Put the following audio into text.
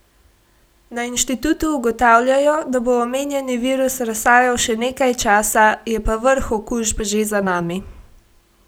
Na inštitutu ugotavljajo, da bo omenjeni virus razsajal še nekaj časa, je pa vrh okužb že za nami.